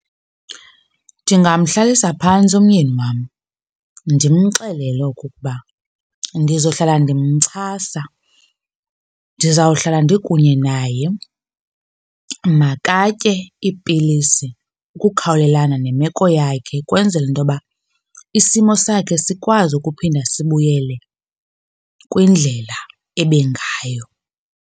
Ndingamhlalisa phantsi umyeni wam ndimxelele okokuba ndizohlala ndimxhasa, ndizawuhlala ndikunye naye. Makatye iipilisi ukukhawulelana nemeko yakhe ukwenzela into yoba isimo sakhe sikwazi ukuphinda sibuyele kwindlela ebengayo.